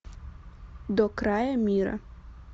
до края мира